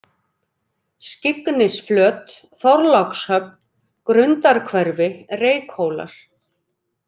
Skyggnisflöt, Þorlákshöfn, Grundarhverfi, Reykhólar